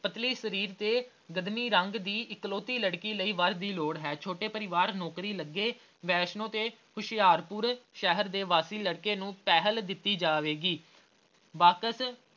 ਪਤਲੇ ਸਰੀਰ ਤੇ ਰੰਗ ਦੀ ਇੱਕਲੌਤੀ ਲੜਕੀ ਲਈ ਵਰ ਦੀ ਲੋੜ ਹੈ ਛੋਟੇ ਪਰਿਵਾਰ ਨੌਕਰੀ ਲੱਗੇ ਵੈਸ਼ਨੂੰ ਤੇ ਹੁਸ਼ਿਆਰਪੁਰ ਸ਼ਹਿਰ ਦੇ ਵਾਸੀ ਲੜਕੇ ਨੂੰ ਪਹਿਲ ਦਿੱਤੀ ਜਾਵੇਗੀ ਬਾਕਸ